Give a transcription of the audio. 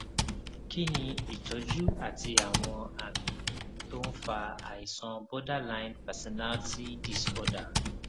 kí ni ìtọjú àti àwọn àmì tó ń fa àìsàn borderline personality disorder